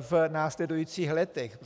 v následujících letech.